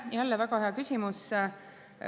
Jälle väga hea küsimus.